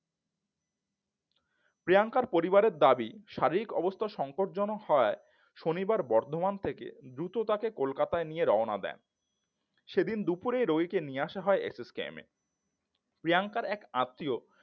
প্রিয়াঙ্কার পরিবারের দাবি শারীরিক অবস্থা সংকটজনক হওয়ায় শনিবার বর্ধমান থেকে দ্রুত তাকে কলকাতার দিকে রওনা দেন সেদিন দুপুরে রোগীকে নিয়ে আসা হয় এস এস কে মে এ প্রিয়াঙ্কার এক আত্মীয়